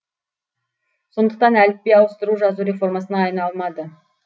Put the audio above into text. сондықтан әліпби ауыстыру жазу реформасына айналмады